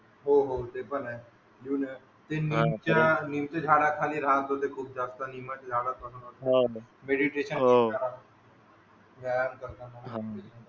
हो हो ते पण आहे अजून निमच्या झाडा खाली राहत होते खूप जास्त निमच्या झाडा खाली बसून मेडिटेशन करताना वायम करताना